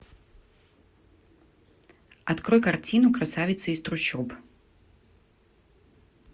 открой картину красавица из трущоб